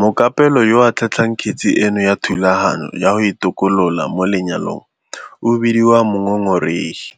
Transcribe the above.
"Mokapelo yo a tlhatlhelang kgetse eno ya thulaganyo ya go itokolola mo le-nyalong o bediwa mongongoregi